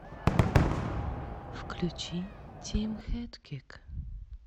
включи тимхэдкик